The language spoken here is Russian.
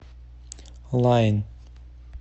лаин